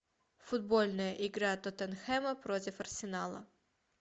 футбольная игра тоттенхэма против арсенала